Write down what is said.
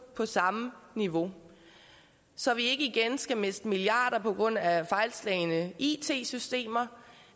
på samme niveau så vi ikke igen skal miste milliarder på grund af fejlslagne it systemer